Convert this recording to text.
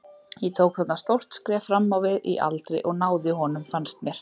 Ég tók þarna stórt skref fram á við í aldri og náði honum fannst mér.